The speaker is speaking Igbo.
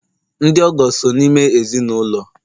ndị ọgọ so n'ime ezi n' ụlọ